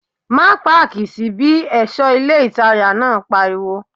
Má páàkì sí bí! ẹ̀ṣọ́ ilé ìtajà náà pariwo